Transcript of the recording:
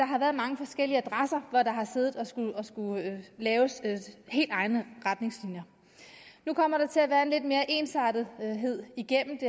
har været mange forskellige adresser hvor man har siddet og skullet lave helt egne retningslinjer nu kommer der til at være lidt mere ensartethed igennem det